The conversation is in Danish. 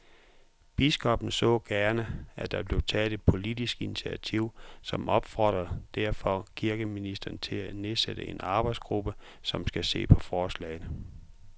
Biskoppen så gerne, at der blev taget et politisk initiativ, og opfordrer derfor kirkeministeren til at nedsætte en arbejdsgruppe, som skal se på forslaget